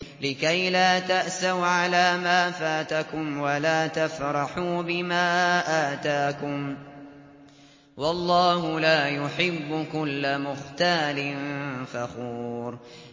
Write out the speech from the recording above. لِّكَيْلَا تَأْسَوْا عَلَىٰ مَا فَاتَكُمْ وَلَا تَفْرَحُوا بِمَا آتَاكُمْ ۗ وَاللَّهُ لَا يُحِبُّ كُلَّ مُخْتَالٍ فَخُورٍ